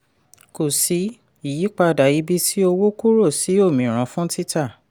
kò sí ìyípadà ibi tí owó kúrò sí òmíràn fún títà.